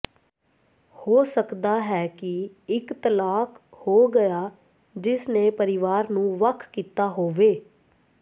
ਹੋ ਸਕਦਾ ਹੈ ਕਿ ਇਕ ਤਲਾਕ ਹੋ ਗਿਆ ਜਿਸ ਨੇ ਪਰਿਵਾਰ ਨੂੰ ਵੱਖ ਕੀਤਾ ਹੋਵੇ